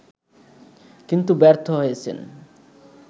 কিন্তু ব্যর্থ হয়েছেন